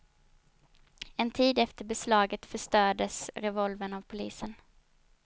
En tid efter beslaget förstördes revolvern av polisen.